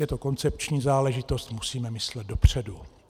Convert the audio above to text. Je to koncepční záležitost, musíme myslet dopředu.